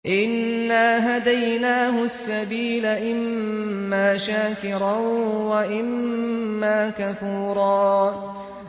إِنَّا هَدَيْنَاهُ السَّبِيلَ إِمَّا شَاكِرًا وَإِمَّا كَفُورًا